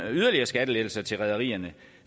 yderligere skattelettelser til rederierne